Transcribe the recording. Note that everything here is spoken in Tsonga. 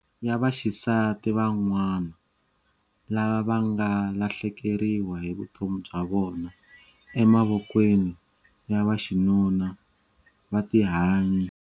Ya vaxisati van'wana lava va nga lahlekeriwa hi vutomi bya vona emavokweni ya vaxinuna va tihanyi.